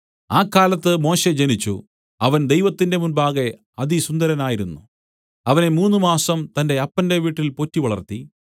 ആ കാലത്ത് മോശെ ജനിച്ചു അവൻ ദൈവത്തിന്റെ മുമ്പാകെ അതിസുന്ദരനായിരുന്നു അവനെ മൂന്ന് മാസം തന്റെ അപ്പന്റെ വീട്ടിൽ പോറ്റിവളർത്തി